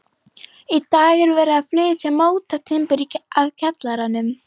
Í dag er verið að flytja mótatimbur að kjallaranum.